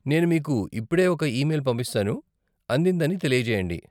నేను మీకు ఇప్పుడే ఒక ఈమెయిల్ పంపిస్తాను, అందిందని తెలియజేయండి.